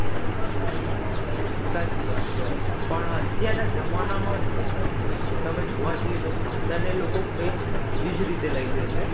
સાચી વાત છે પણ અત્યારના જમાનામાં અમ તમે જોવા જઈએ તો ભણતરને લોકો કંઈજ ઊંઘી જ રીતે લઈ લ્યે છે.